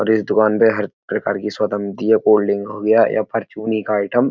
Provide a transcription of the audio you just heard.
और इस दुकान पे हर प्रकार की सोडा मिलती है। कोल्ड ड्रिंक हो गया या परचूनी का आइटम --